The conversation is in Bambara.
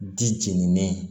Di jenini